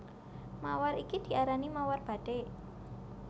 Mawar iki diarani mawar bathik